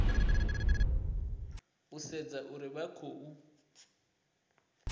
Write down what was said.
u sedza uri vha khou